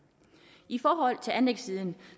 i forhold til anlægssiden